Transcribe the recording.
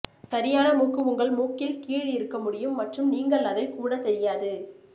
சரியான மூக்கு உங்கள் மூக்கில் கீழ் இருக்க முடியும் மற்றும் நீங்கள் அதை கூட தெரியாது